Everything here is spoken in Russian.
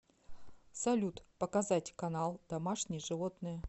салют показать канал домашние животные